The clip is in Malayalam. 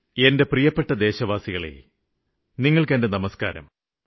എന്റെ പ്രിയപ്പെട്ട ദേശവാസികളേ നിങ്ങള്ക്ക് എന്റെ നമസ്ക്കാരം